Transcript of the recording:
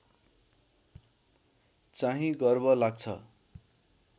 चाहिँ गर्व लाग्छ